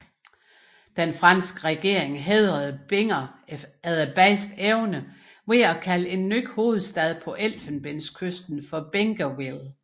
Den franske regering hædrede Binger efter bedste evne ved at kalde en ny hovedstad på Elfenbenskysten Bingerville